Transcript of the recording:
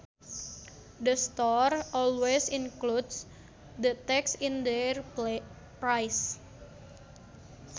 The store always includes the tax in their price